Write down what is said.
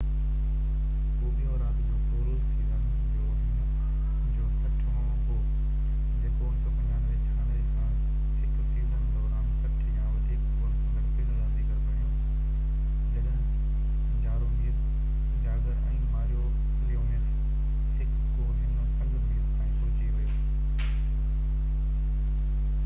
هو ٻيو رات جو گول سيزن جو هن جو 60 هون هو جيڪو 1995-96 کان هڪ سيزن دوران 60 يا وڌيڪ گول ڪندڙ پهريون رانديگر بڻيو جڏهن جارومير جاگر ۽ ماريو ليميوڪس هڪ ڪو هن سنگ ميل تائين پهچي ويو